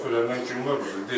Taksi şoferlərdən kim var burda?